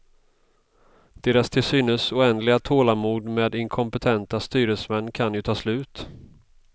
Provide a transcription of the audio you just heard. Deras till synes oändliga tålamod med inkompetenta styresmän kan ju ta slut.